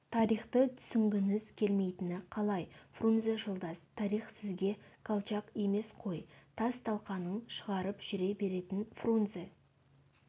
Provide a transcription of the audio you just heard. тарихты түсінгіңіз келмейтіні қалай фрунзе жолдас тарих сізге колчак емес қой тас-талқанын шығарып жүре беретін фрунзе